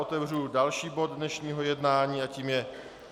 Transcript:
Otevřu další bod dnešního jednání a tím je